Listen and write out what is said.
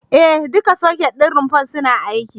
E, duka soket ɗin rumfar suna aiki.